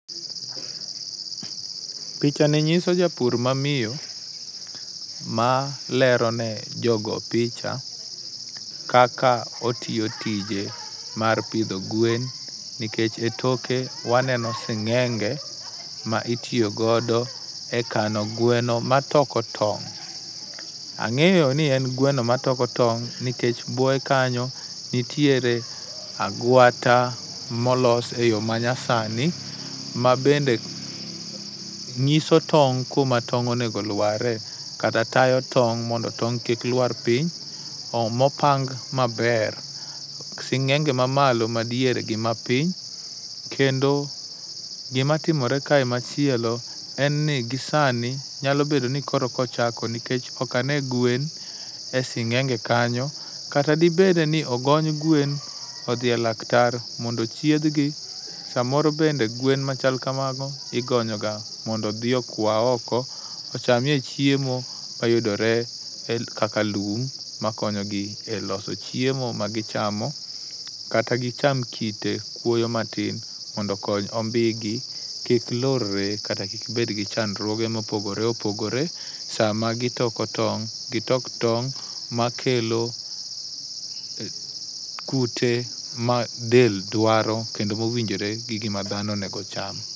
picha ni nyiso japur mamiyo malero ne jogo picha kaka otiyo tije mar pidho gwen nikech etoke waneno sing'enge ma itiyo godo e kano gweno matoko tong'. Ang'eyo ni en gweno matoko tong' nikech buoye kanyo nitiere agwata molos eyo manyasani mabende nyiso tong' kuma tong' onego lwarie kata tayo tong' mondo tong' kik lwar piny , mopang maber, sing'enge mamalo, madiere gi mapiny. Kendo gima timore kae machielo en ni gisani nyalo bedo ni koro eka ochako nikech ok ane gwen e sing'enge kanyo kata dibede ni ogony gwen odhi e laktar mondo othiedhgi to samoro bende gwen machalg kamago igonyo ga mondo odhi okwa oko, ochamie chiemo mayudore e kaka lum makonyo gi eloso chiemo magichamo kata gicham kite kwoyo matin mondo okony ombiyegi kik lorre kata kik bed gi chandruoge mopogore opogore sama gitoko tong' gitok tong' makelo kute madel dwaro kendo mowinjore gi gima dhano onego ocham.